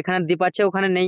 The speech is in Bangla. এখানে দ্বীপ আছে ওখানে নেই